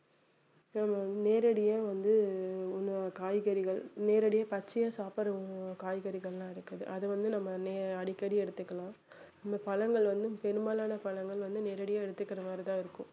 நம்ம நேரடியா வந்து உண~ காய்கறிகள் நேரடியா பச்சையா சாப்பிடுற அஹ் காய்கறிகள்லாம் இருக்குது அதை வந்து நம்ம நே~ அடிக்கடி எடுத்துக்கலாம் இன்னும் பழங்கள் வந்து பெரும்பாலான பழங்கள் வந்து நேரடியா எடுத்துக்கிற மாதிரி தான் இருக்கும்